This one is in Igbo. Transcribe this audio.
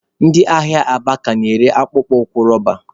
Ndị ahịa Aba ka na-ere akpụkpọ ụkwụ roba.